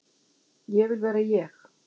Ég vil vera ég.